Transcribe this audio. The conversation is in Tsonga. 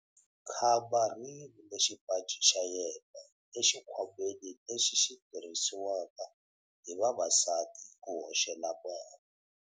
Khamba ri yivile xipaci xa yena exikhwameni lexi xi tirhisiwaka hi vavasati ku hoxela mali.